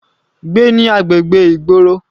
Gbé ní agbègbè ìgboro.